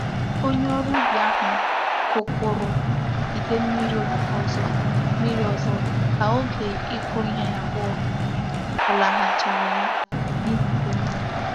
Onye órú ubi ahu gwukwuru ide mmiri ozo mmiri ozo ka oge iko ihe abuo fulahuchara ya n'ihi ide mmiri.